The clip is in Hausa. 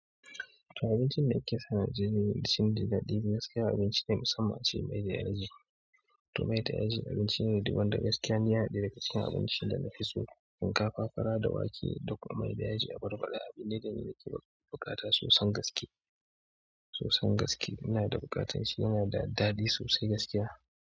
Abincin da ake sani a Najeriya shine daɗi. Gaskiya abinci ne musamman ce mai da yaji. To mai da yaji abinci ne wanda gaskiya yana da daka cikin abinci da na fi so. Shinkafa, fara da wake da kuma mai da yaji abarba. A abin da yana da buƙata sosan gaske. Sosan gaske yana da buƙatan shi yana da daɗi sosai gaskiya.